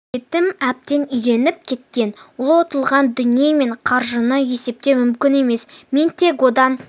етім әбден үйреніп кеткен ол ұтылған дүние мен қаржыны есептеу мүмкін емес мен тек одан